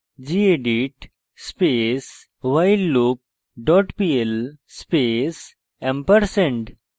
gedit space whileloop dot pl space &